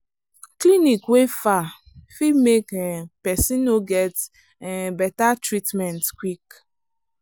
clinic wey far fit make um person no get um better treatment quick.